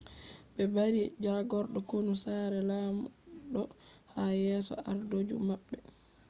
be bari jagordo konu sare lamdo ha yeso ardo ju mabbe